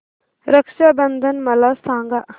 रक्षा बंधन मला सांगा